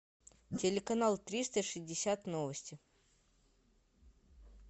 телеканал триста шестьдесят новости